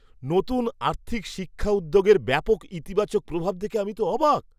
নতুন আর্থিক শিক্ষা উদ্যোগের ব্যাপক ইতিবাচক প্রভাব দেখে আমি তো অবাক!